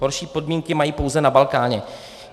Horší podmínky mají pouze na Balkáně.